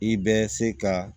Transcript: I bɛ se ka